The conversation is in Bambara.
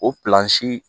O pilansi